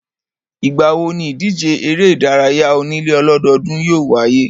Ìgbà wo níìdíje eré ìdárayá onílé ọlọ́dọọ́dún yóò wáyé?